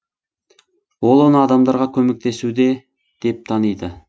ол оны адамдарға көмектесуде деп таниды